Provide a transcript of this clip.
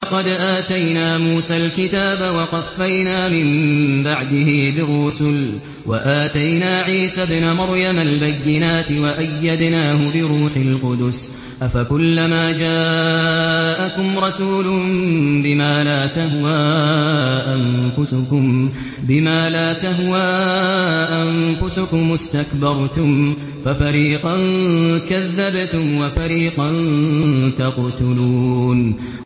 وَلَقَدْ آتَيْنَا مُوسَى الْكِتَابَ وَقَفَّيْنَا مِن بَعْدِهِ بِالرُّسُلِ ۖ وَآتَيْنَا عِيسَى ابْنَ مَرْيَمَ الْبَيِّنَاتِ وَأَيَّدْنَاهُ بِرُوحِ الْقُدُسِ ۗ أَفَكُلَّمَا جَاءَكُمْ رَسُولٌ بِمَا لَا تَهْوَىٰ أَنفُسُكُمُ اسْتَكْبَرْتُمْ فَفَرِيقًا كَذَّبْتُمْ وَفَرِيقًا تَقْتُلُونَ